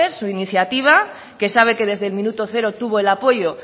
su iniciativa que sabe que desde el minuto cero tuvo el apoyo